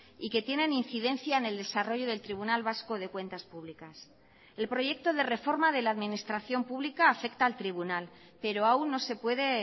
y que tienen incidencia en el desarrollo del tribunal vasco de cuentas públicas el proyecto de reforma de la administración pública afecta al tribunal pero aun no se puede